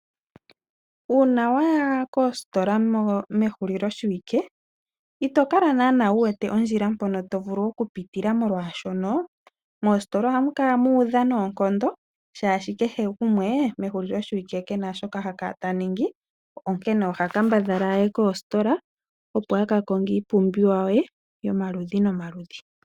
Uuna waya koosikola mehuliloshiwike ito kala naanaa wu wete ondjila mpono to vulu okupitila molwaashono, moositola ohamu kala mu udha noonkondo shaashi kehe gumwe mehuliloshiwike kena shoka ha kala ta ningi onkene oha kambadhala a ye koositola opo a ka konge iipumbiwa ye yomaludhi nomaludhi.